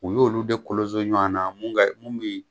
U y'olu de kolonso ɲɔanan mun ka mun bi